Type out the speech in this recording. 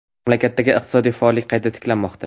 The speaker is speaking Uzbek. Mamlakatdagi iqtisodiy faollik qayta tiklanmoqda.